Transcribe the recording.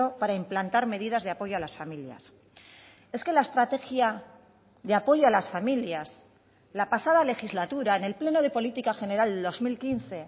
para implantar medidas de apoyo a las familias es que la estrategia de apoyo a las familias la pasada legislatura en el pleno de política general del dos mil quince